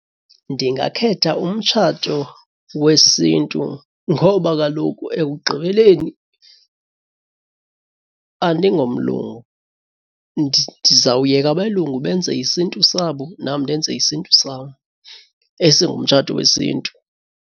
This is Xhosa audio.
Ndingakhetha umtshato wesiNtu ngoba kaloku ekugqibeleni andingomlungu, ndizawuyeka abelungu benze isiNtu sabo nam ndenze isiNtu sam esingumtshato wesiNtu.